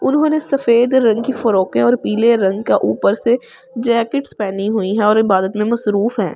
उन्होंने सफेद रंग की फ्रॉकें और पीले रंग का ऊपर से जैकेट्स पहनी हुई हैं और इबादत में मसरूफ हैं ।